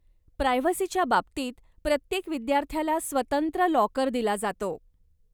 प्रायव्हसीच्या बाबतीत, प्रत्येक विद्यार्थ्याला स्वतंत्र लाॅकर दिला जातो.